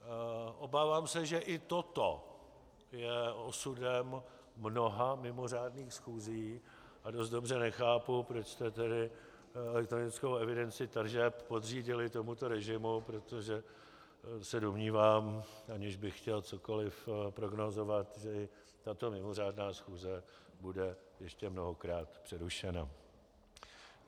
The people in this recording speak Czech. Obávám se, že i toto je osudem mnoha mimořádných schůzí a dost dobře nechápu, proč jste tedy elektronickou evidenci tržeb podřídili tomuto režimu, protože se domnívám, aniž bych chtěl cokoli prognózovat, že i tato mimořádná schůze bude ještě mnohokrát přerušena.